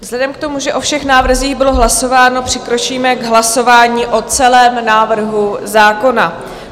Vzhledem k tomu, že o všech návrzích bylo hlasováno, přikročíme k hlasování o celém návrhu zákona.